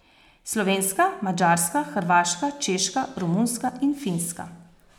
Slovenska, madžarska, hrvaška, češka, romunska in finska.